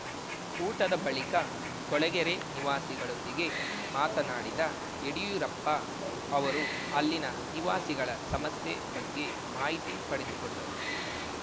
ಊಟದ ಬಳಿಕ ಕೊಳಗೆರೆ ನಿವಾಸಿಗಳೊಂದಿಗೆ ಮಾತನಾಡಿದ ಯಡ್ಯೂರಪ್ಪ ಅವರು ಅಲ್ಲಿನ ನಿವಾಸಿಗಳ ಸಮಸ್ಯೆ ಬಗ್ಗೆ ಮಾಹಿತಿ ಪಡೆದುಕೊಂಡರು